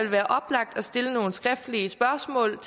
være oplagt at stille nogle skriftlige spørgsmål